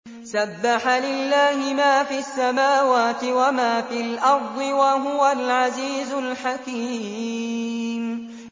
سَبَّحَ لِلَّهِ مَا فِي السَّمَاوَاتِ وَمَا فِي الْأَرْضِ ۖ وَهُوَ الْعَزِيزُ الْحَكِيمُ